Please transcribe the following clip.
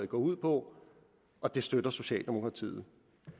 går ud på og det støtter socialdemokratiet